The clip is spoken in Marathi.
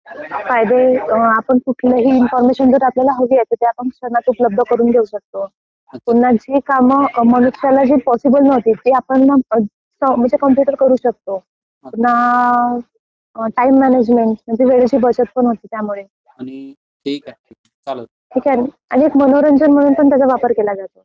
फायदे म्हणजे आपल्याला कुठलीही इन्फॉर्मेशन हवी असे तर आपण ती क्षणार्धात उपलब्ध करून देऊ शकतो. पुन्हा जी कामं मनुष्याला पॉसिबल नव्हती ते आपण मग म्हणजे कॉम्प्युटर करू शकतो. पुन्हा टाइम मानएजमेण्ट म्हणजे वेळेची बचत पण होते त्यामध्ये. आणि एक मनोरंजन म्हणून पण त्याचा वापर केला जातो.